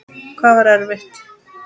Hvað var erfitt?